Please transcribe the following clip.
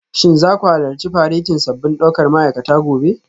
Shin za ku halarci faretin sabbin daukar ma'aikata gobe?